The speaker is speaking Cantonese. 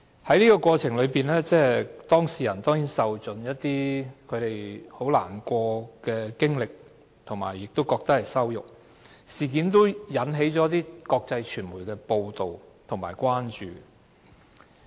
在整個過程中，當事人甚為難過，也感到被羞辱，事件被國際傳媒報道，引起關注。